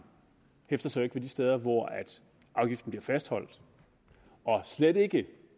hæfter sig jo ikke ved de steder hvor afgiften bliver fastholdt og slet ikke